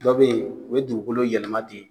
Dɔ be yen, o bɛ dugukolo yɛlɛma ten